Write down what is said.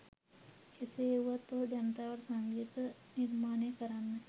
එසේ වුවත් ඔහු ජනතාවට සංගීත නිර්මාණය කරන්න